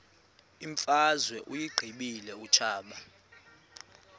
imfazwe uyiqibile utshaba